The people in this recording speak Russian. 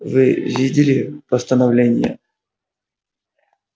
вы видели постановление